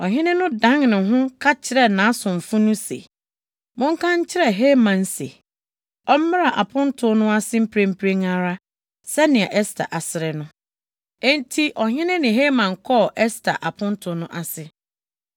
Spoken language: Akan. Ɔhene no dan ne ho, ka kyerɛɛ nʼasomfo no se, “Monka nkyerɛ Haman se, ɔmmra aponto no ase mprempren ara, sɛnea Ɛster asrɛ no.” Enti ɔhene ne Haman kɔɔ Ɛster aponto no ase.